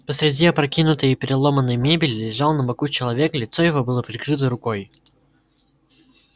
посреди опрокинутой и переломанной мебели лежал на боку человек лицо его было прикрыто рукой